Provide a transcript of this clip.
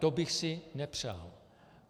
To bych si nepřál.